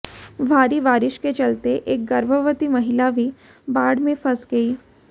भारी बारिश के चलते एक गर्भवती महिला भी बाढ़ में फंस गई